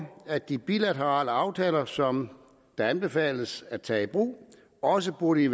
at de bilaterale aftaler som det anbefales at tage i brug også burde